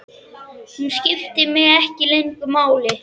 Hún skiptir mig ekki lengur máli.